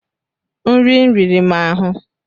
nri riri m ahụ.